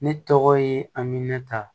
Ne tɔgɔ ye aminɛnta